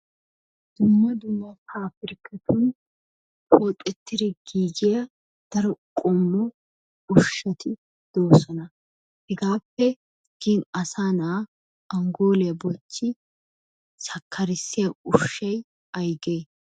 Dumma dumma pabbrikkatun qoxxettidi giigiya daro qommo ushshati doosona. Hegaappe gin asaa na'aa angooliya bochchi sakkarissiya ushshay aygee?